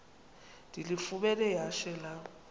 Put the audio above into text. ndilifumene ihashe lam